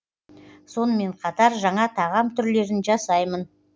сонымен қатар жаңа тағам түрлерін жасаймын